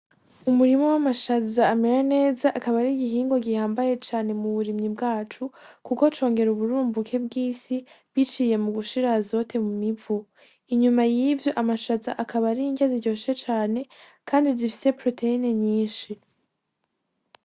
Umurima w'amashaza amera neza akaba ari igihingwa gihambaye cane mu burimyi bwacu kuko congera uburumbuke bwisi biciye mugushira azote mwivu, Inyuma yivyo amashaza akaba ari irya zi ryoshe cane kandi zifise poroteyine nyishi.